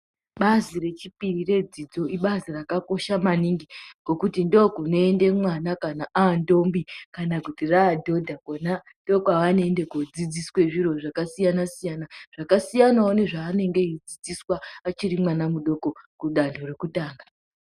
Bazi rechipiri redzidzo ibazi rakakosha maningi ngokuti ndookunoende mwana kana aantombi kana kuti raadhodha kona. Ndookwaanoende kuodzidziswa zviro zvakasiyana-siyana . Zvakasiyanawo nezvaanenge eidzIdziswa achiri mwana mudoko kudanho rekutanga.